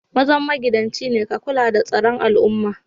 Mazan magidanci ne ka kulla da tsaron al'umman.